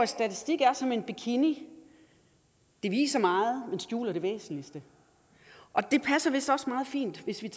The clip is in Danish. statistik er som en bikini det viser meget men skjuler det væsentligste og det passer vist også meget fint hvis vi